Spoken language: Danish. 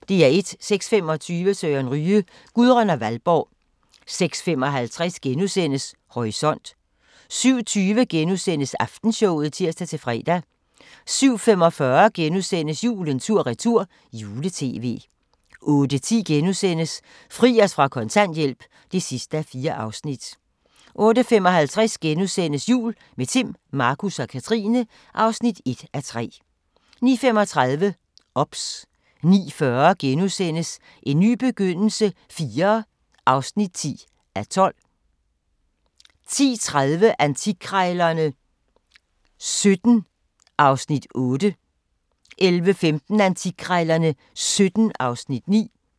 06:25: Søren Ryge: Gudrun og Valborg 06:55: Horisont * 07:20: Aftenshowet *(tir-fre) 07:45: Julen tur-retur - jule-tv * 08:10: Fri os fra kontanthjælp (4:4)* 08:55: Jul – med Timm, Markus og Katrine (1:3)* 09:35: OBS 09:40: En ny begyndelse IV (10:12)* 10:30: Antikkrejlerne XVII (Afs. 8) 11:15: Antikkrejlerne XVII (Afs. 9)